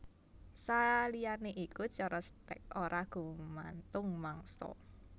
Saliyané iku cara stèk ora gumantung mangsa